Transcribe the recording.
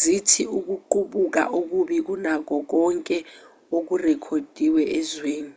zithi ukuqubuka okubi kunakho konke okurekhodiwe ezweni